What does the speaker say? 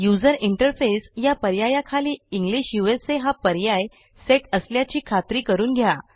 user interface या पर्यायाखाली English उसा हा पर्याय सेट असल्याची खात्री करून घ्या